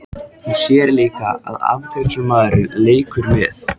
Hún sér líka að afgreiðslumaðurinn leikur með.